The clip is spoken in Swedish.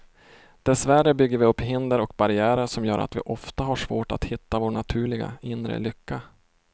Dessvärre bygger vi upp hinder och barriärer som gör att vi ofta har svårt att hitta vår naturliga, inre lycka.